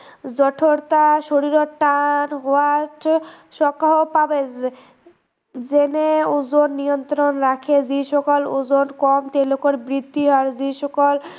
যথৰতা, শৰীৰত টান হোৱাত যেনে উজন নিয়ন্ত্ৰণ ৰাখে, যিসকল উজন কম তেওঁলোকৰ বৃদ্ধি হয়, যিসকল